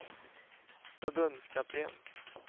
förbundskapten